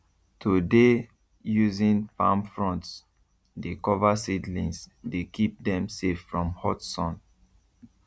to dey using palm fronds dey cover seedlings dey keep dem safe from hot sun